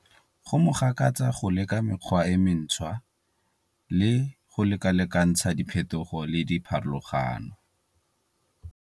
Go mo gakatsa go leka mekgwa e mentshwa le go lekalekantsha diphethogo le dipharologano.